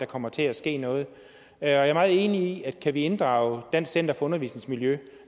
kommer til at ske noget jeg er meget enig i at kan vi inddrage dansk center for undervisningsmiljø